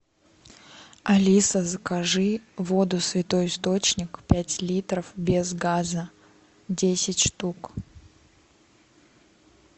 алиса закажи воду святой источник пять литров без газа десять штук